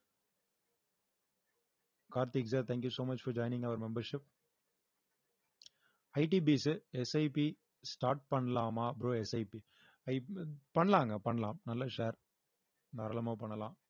Karthik sir thank you so much for joining our membership I D P S S I P start பண்ணலாமா bro S I P பண்ணலாங்க பண்ணலாம் நல்ல share தாராளமா பண்ணலாம்